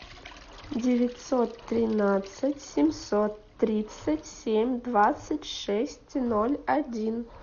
девятьсот тринадцать семьсот тридцать семь двадцать шесть ноль один